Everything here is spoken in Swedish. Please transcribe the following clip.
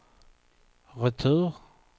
retur